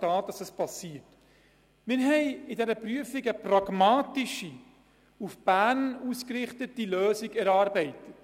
Bei der Überprüfung haben wir eine pragmatische, auf den Berner Gegebenheiten basierende Lösung erarbeitet.